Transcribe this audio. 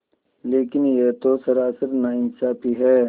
लेकिन यह तो सरासर नाइंसाफ़ी है